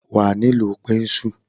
Wà a nílò pẹ́ńsùl.